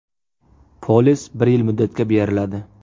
Polis bir yil muddatga beriladi.